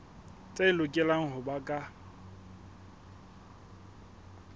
tse lokelang ho ba ka